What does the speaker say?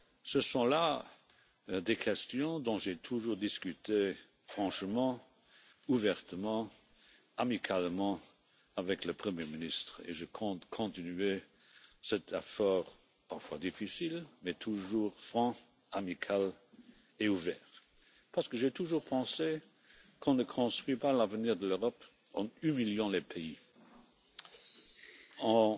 Ce sont là des questions dont j'ai toujours discuté franchement, ouvertement, amicalement avec le Premier ministre et je compte continuer cet effort parfois difficile mais toujours franc, amical et ouvert parce que j'ai toujours pensé qu'on ne construit pas l'avenir de l'Europe en humiliant les pays,